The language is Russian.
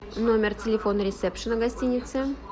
номер телефона ресепшена гостиницы